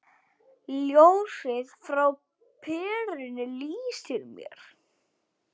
Ljósið frá perunni lýsir mér.